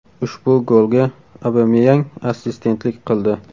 Ushbu golga Obameyang assistentlik qildi.